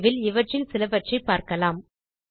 விரைவில் இவற்றில் சிலவற்றைப் பார்க்கலாம்